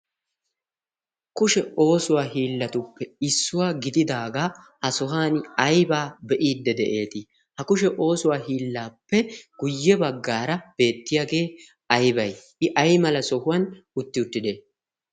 Kushe oosuwa hiilatuppe issuwa gididaga ha sohuwaan ayba beidi de'eti? Ha kushee oosuwaa hiillappe guye baggaara beetiyage aybay? Ikka aymala sohuwan uttiwottide?